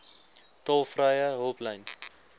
tolvrye hulplyn